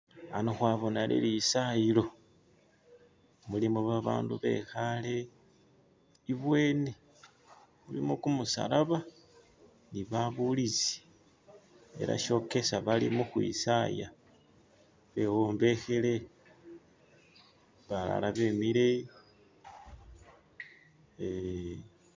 Ano khwabona lilisayilo mulimo babandu be'khale ibwyeni iliyo kumusalaba ni babulizi, ele shokesa bali mukhwisaya, bewombekhele, balala be'mile